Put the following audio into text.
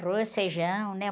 Arroz, feijão, né?